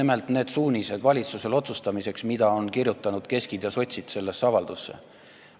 Me võiksime valitsusele otsustamiseks anda just nimelt need suunised, mida keski omad ja sotsid sellesse avaldusse on kirjutanud.